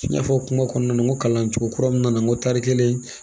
N y'a fɔ kuma kɔnɔna na n ko kalan cogo kura mun nana n ko tari kelen